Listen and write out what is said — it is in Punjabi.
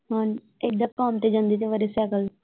ਹਾਂ ਏਦਾਂ ਕੰਮ ਤੇ ਜਾਂਦੇ ਕਈ ਵਾਰੀ ਸਾਈਕਲ।